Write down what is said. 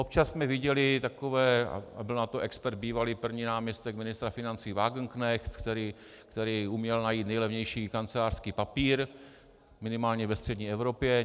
Občas jsme viděli takové, a byl na to expert bývalý první náměstek ministra financí Wagenknecht, který uměl najít nejlevnější kancelářský papír, minimálně ve střední Evropě.